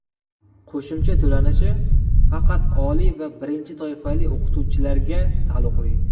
Qo‘shimcha to‘lanishi faqat oliy va birinchi toifali o‘qituvchilarga taalluqli .